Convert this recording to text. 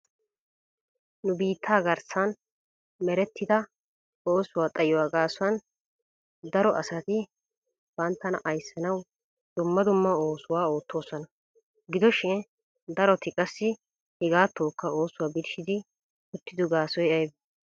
Nu biittaa garassan merertida oosuwa xayuwa gaasuwan garo asati banttana ayssanawu dumma dumma oosuwaa oottoosona. Gidoshin daroti qassi hegatokka oosuwa birshshidi uttiddo gaasoy aybbee?